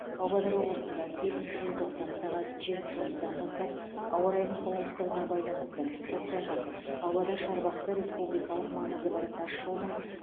павлодар облысында бесінші желтоқсан сағат жиырма үш отыздан бастап ауа райының қолайсыздығына байланысты көктайғақ павлодар шарбақты республикалық маңызы бар тасжолдың